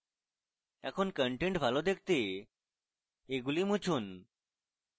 এখন content ভালো দেখতে এগুলি মুছি